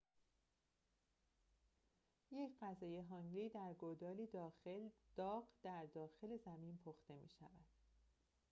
یک غذای هانگی در گودالی داغ در داخل زمین پخته می شود